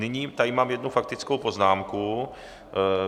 Nyní tady mám jednu faktickou poznámku.